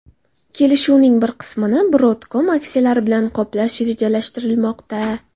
Kelishuvning bir qismini Broadcom aksiyalari bilan qoplash rejalashtirilmoqda.